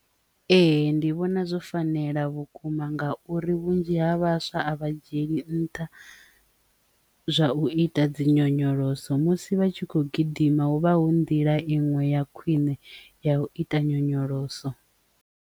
Ee, ndi vhona zwo fanela vhukuma ngauri vhunzhi ha vhaswa a vha dzhieli nṱha zwa u ita dzi nyonyoloso musi vha tshi khou gidima huvha hu nḓila inwe ya khwine ya u ita nyonyoloso.